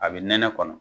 A bɛ nɛnɛ kɔnɔ